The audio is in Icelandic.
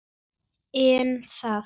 En þagði.